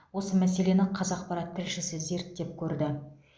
осы мәселені қазақпарат тілшісі зерттеп көрді